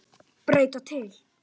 Breyta til.